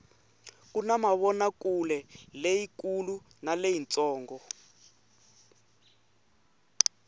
kuna mavonakuleleyi kulu na leyi ntsongo